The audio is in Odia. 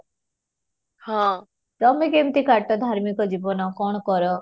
ହଁ, ତମେ କେମିତି କାଟ ଧାର୍ମିକ ଜୀବନ କ'ଣ କର?